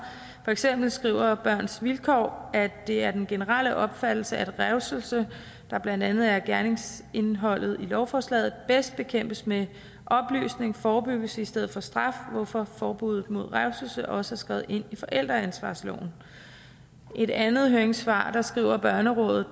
for eksempel skriver børns vilkår at det er den generelle opfattelse at revselse der blandt andet er gerningsindholdet i lovforslaget bedst bekæmpes med oplysning og forebyggelse i stedet for straf hvorfor forbuddet mod revselse også er skrevet ind i forældreansvarsloven i et andet høringssvar skriver børnerådet